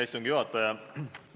Hea istungi juhataja!